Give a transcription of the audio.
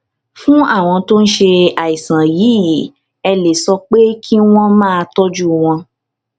fún àwọn tó ń ṣe àìsàn yìí ẹ lè sọ pé kí wọ́n máa tójú wọ́n